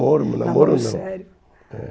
namoro, namoro não. Namoro sério... É.